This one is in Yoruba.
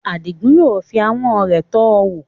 Adigun yóò fi ahọ́n rẹ̀ tọ́ ọ wò.